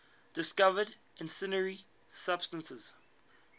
discovered incendiary substance